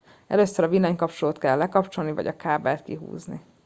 először a villanykapcsolót kell lekapcsolni vagy a kábelt kihúzni